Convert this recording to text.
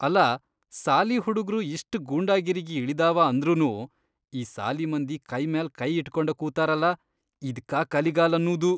ಅಲಾ, ಸಾಲಿ ಹುಡುಗ್ರು ಇಷ್ಟ್ ಗೂಂಡಾಗಿರಿಗಿ ಇಳದಾವ ಅಂದ್ರನೂ ಈ ಸಾಲಿಮಂದಿ ಕೈಮ್ಯಾಲ್ ಕೈಇಟ್ಕೊಂಡ ಕೂತಾರಲ.. ಇದ್ಕಾ ಕಲಿಗಾಲ್ ಅನ್ನೂದು.